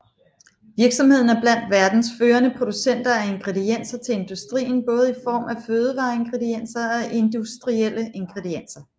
Virksomheden er blandt verdens førende producenter af ingredienser til industrien både i form af fødevareingredienser og industrielle ingredienser